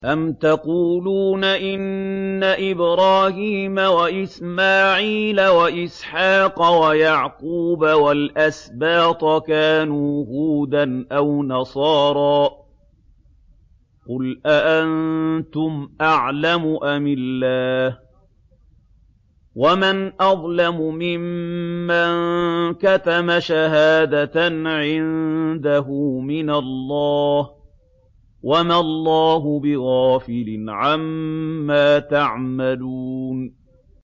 أَمْ تَقُولُونَ إِنَّ إِبْرَاهِيمَ وَإِسْمَاعِيلَ وَإِسْحَاقَ وَيَعْقُوبَ وَالْأَسْبَاطَ كَانُوا هُودًا أَوْ نَصَارَىٰ ۗ قُلْ أَأَنتُمْ أَعْلَمُ أَمِ اللَّهُ ۗ وَمَنْ أَظْلَمُ مِمَّن كَتَمَ شَهَادَةً عِندَهُ مِنَ اللَّهِ ۗ وَمَا اللَّهُ بِغَافِلٍ عَمَّا تَعْمَلُونَ